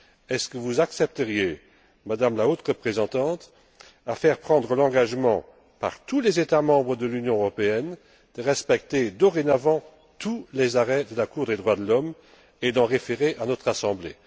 Est ce que vous accepteriez, Madame la Haute représentante, de faire prendre l'engagement, par tous les États membres de l'Union européenne, de respecter dorénavant tous les arrêts de la Cour des droits de l'homme et d'en référer à notre Assemblée?